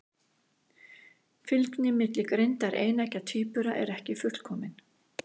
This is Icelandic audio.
Fylgni milli greindar eineggja tvíbura er ekki fullkomin.